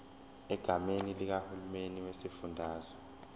egameni likahulumeni wesifundazwe